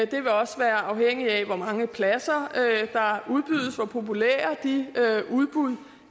det vil også være afhængigt af hvor mange pladser der udbydes og hvor populære de udbud